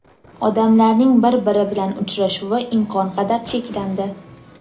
odamlarning bir-biri bilan uchrashuvi imkon qadar cheklandi.